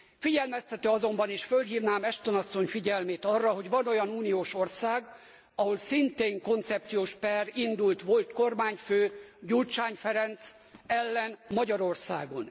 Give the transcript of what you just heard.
Figyelmeztető azonban, és fölhívnám Ashton asszony figyelmét arra, hogy van olyan uniós ország, ahol szintén koncepciós per indult volt kormányfő, Gyurcsány Ferenc ellen Magyarországon.